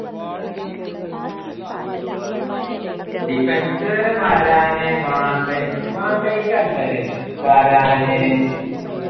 defence വരാൻ വാണ്ട വാണ്ടയ്ക്ക് അല്ല ല്ലേ വരാന്